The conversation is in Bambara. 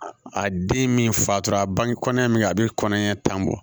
A den min fatora a bange kɔnɔ ɲɛ min bɛ a bɛ kɔnɔɲɛ tan bɔ